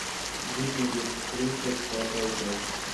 викинги тридцать пятая часть